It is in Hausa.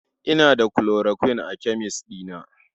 Ina da chloroquine a kemes ɗina.